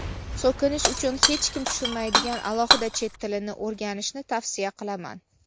So‘kinish uchun hech kim tushunmaydigan alohida chet tilini o‘rganishni tavsiya qilaman.